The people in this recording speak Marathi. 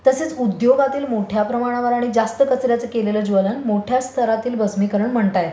तसेच उद्योगातील मोठ्या प्रमाणावर आणि जास्त कचर् याचं केलेलं ज्वलन मोठ्या स्तरातील भस्मिकरण म्हणता येतं.